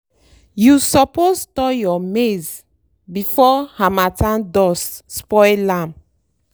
you suppose store your maize before harmattan dust spoil am.